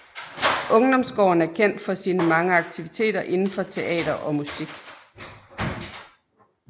Ungdomsgården er kendt for sine mange aktiviteter indenfor teater og musik